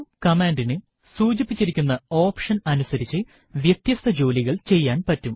ഒരു കമാൻഡിന് സൂചിപ്പിച്ചിരിക്കുന്ന ഓപ്ഷൻ അനുസരിച്ച് വ്യത്യസ്ത ജോലികൾ ചെയ്യാൻ പറ്റും